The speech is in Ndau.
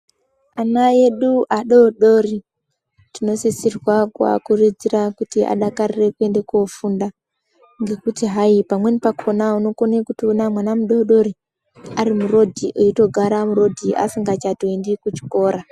Ana edu adodori tinosisirwa kuakurudzira kuti adakarire kwende kofunda. Ngekuti hai pamweni pakona unokone kutoona mwana mudodori arimurodhi eitogara murodhi asingachatoendi kuchikora.